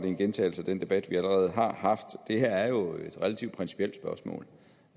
en gentagelse af den debat vi allerede har haft det her er jo et relativt principielt spørgsmål